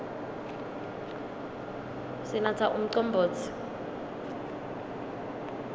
sinatsa umcombotsi